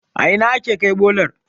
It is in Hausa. a Ina ake Kai bolar?